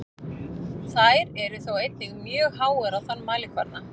Þær eru þó einnig mjög háar á þann mælikvarða.